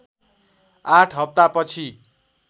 आठ हप्ता पछि